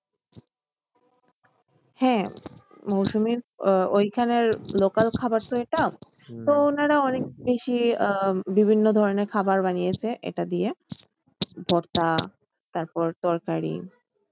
হ্যাঁ, মৌসুমির আহ ওইখানের local খাবার তো এটা অনেক বেশি আহ বিভিন্ন ধরণের খাবার বানিয়েছে এটা দিয়ে তারপরে তরকারি